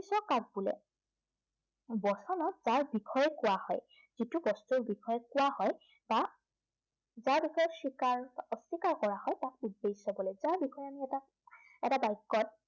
বচনত যাৰ বিষয়ে কোৱা হয়, যিটো বস্তুৰ বিষয়ে কোৱা হয় তাক যাৰ বিষয়ে স্বীকাৰ বা অস্বীকাৰ কৰা হয় তাক উদ্দেশ্য় বোলে। যাৰ বিষয়ে আমি এটা এটা বাক্য়ত